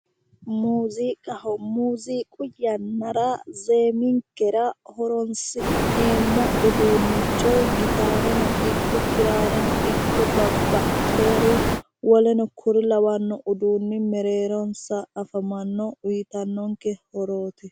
muuziiqzho muziiqinkera zeeminkera horonsi'neemmo uduunnico gitaareno ikko kiraareno woleno kuri lawanno uduunni mereeronsna afamanno uyiitannonke horooti